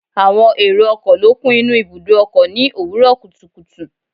Àwọn èrò ọkọ̀ ló kún inú ibùdó ọkọ̀ ni òwúrò kùtùkùtù